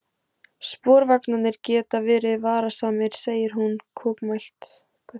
Sporvagnarnir geta verið varasamir, segir hún kokmælt.